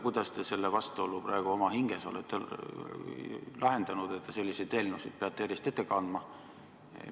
Kuidas te selle vastuolu praegu oma hinges olete lahendanud, et te selliseid eelnõusid peate järjest ette kandma?